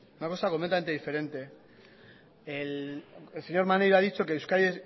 una cosa completamente diferente el señor maneiro ha dicho que euskadi